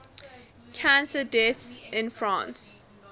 cancer deaths in france